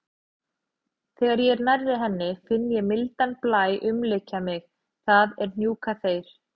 Þegar ég er nærri henni finn ég mildan blæ umlykja mig, það er hnúkaþeyr.